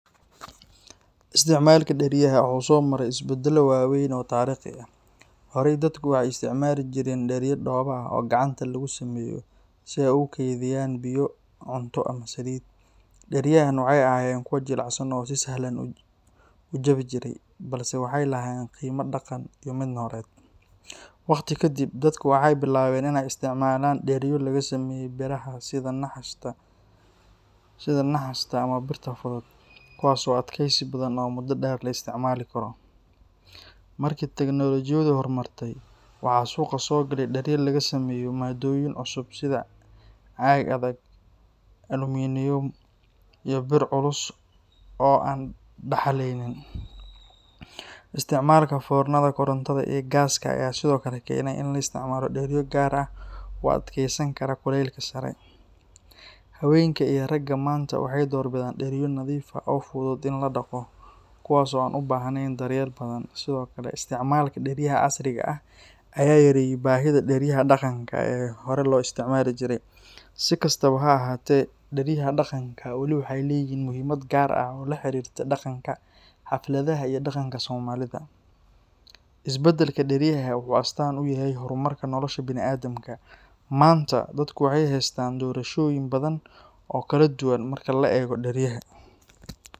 Isticmaalka dheryaha wuxuu soo maray isbedello waaweyn oo taariikhi ah. Horey, dadku waxay isticmaali jireen dheryo dhoobo ah oo gacanta lagu sameeyo si ay ugu kaydiyaan biyo, cunto, ama saliid. Dheryahaan waxay ahaayeen kuwo jilicsan oo si sahlan u jabi jiray, balse waxay lahaayeen qiime dhaqan iyo mid nololeed. Waqti kadib, dadku waxay bilaabeen inay isticmaalaan dheryo laga sameeyo biraha sida naxaasta ama birta fudud, kuwaas oo adkeysi badan oo muddo dheer la isticmaali karo. Markii tignoolajiyadu horumartay, waxaa suuqa soo galay dheryo laga sameeyo maaddooyin cusub sida caag adag, aluminium, iyo bir culus oo aan daxalaynin. Isticmaalka foornada korontada iyo gaaska ayaa sidoo kale keenay in la isticmaalo dheryo gaar ah oo u adkeysan kara kulaylka sare. Haweenka iyo ragga maanta waxay door bidaan dheryo nadiif ah oo fudud in la dhaqo, kuwaas oo aan u baahnayn daryeel badan. Sidoo kale, isticmaalka dheryaha casriga ah ayaa yareeyey baahida dheryaha dhaqanka ee hore loo isticmaali jiray. Si kastaba ha ahaatee, dheryaha dhaqanka wali waxay leeyihiin muhiimad gaar ah oo la xiriirta dhaqanka, xafladaha iyo dhaqanka Soomaalida. Isbedelka dheryaha wuxuu astaan u yahay horumarka nolosha bini’aadamka. Maanta, dadku waxay haystaan doorashooyin badan oo kala duwan marka la eego dheryaha.